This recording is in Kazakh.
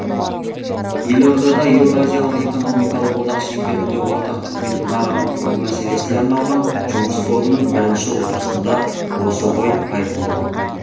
елордада еуразиялық экономикалық одақ шеңберінде ортақ қызмет нарығын құру мәселесіне арналған жұмыс тобының бірінші отырысында осы ой айтылды